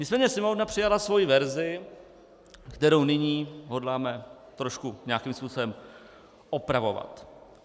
Nicméně Sněmovna přijala svoji verzi, kterou nyní hodláme trošku nějakým způsobem opravovat.